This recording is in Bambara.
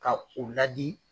Ka u ladi